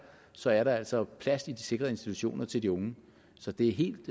så er der altså plads i de sikrede institutioner til de unge så det er helt